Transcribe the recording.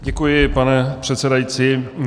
Děkuji, pane předsedající.